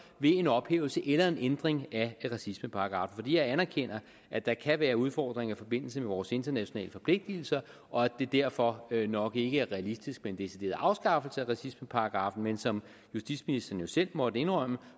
ved en ophævelse eller en ændring af racismeparagraffen jeg anerkender at der kan være udfordringer i forbindelse med vores internationale forpligtelser og at det derfor nok ikke er realistisk med en decideret afskaffelse af racismeparagraffen men som justitsministeren jo selv måtte indrømme